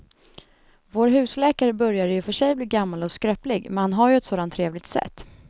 Vår husläkare börjar i och för sig bli gammal och skröplig, men han har ju ett sådant trevligt sätt!